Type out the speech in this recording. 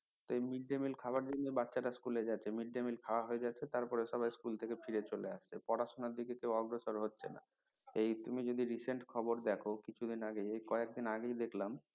এই mid day mill খাওয়ার জন্য বাচ্ছারা school যাচ্ছে mid day mill খাওয়া হয়ে যাচ্ছে তারপরে সবাই school ফায়ার চলে আসছে পড়াশুনার দিকে কেউ অগ্রসর হচ্ছে না এই তুমি যদি recent খাবার দেখো কিছুদিন আগে কয়েকদিন আগেই দেখলাম